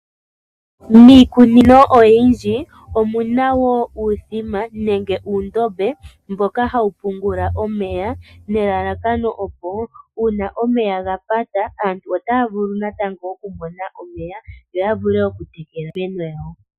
Miikunino oyindji omu na wo uuthima nenge uundombe mboka hawu pungula omeya nelalakano opo uuna omeya ga pata, aantu ota ya vulu natango oku mona omeya yo ya vule okutekela iimeno yawo.